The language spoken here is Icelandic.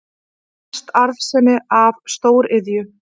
Mest arðsemi af stóriðju